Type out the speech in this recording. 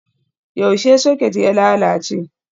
Yaushe soket ya lalace?